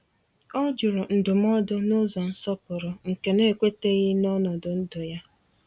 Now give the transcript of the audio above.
O jụrụ ndụmọdụ n’ụzọ nsọpụrụ nke na-ekweteghi na ọnọdụ ndụ ya.